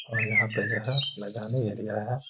और यहाँ पे जो है मैदानी एरिया है।